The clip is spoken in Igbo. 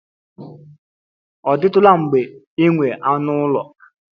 Ọ dịtụla mgbe ị nwere anụ ụlọ?